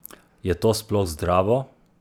Je to sploh zdravo?